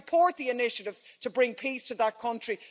So I support the initiatives to bring peace to that country.